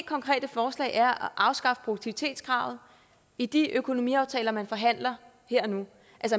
konkrete forslag er at afskaffe produktivitetskravet i de økonomiaftaler man forhandler her og nu